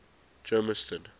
germiston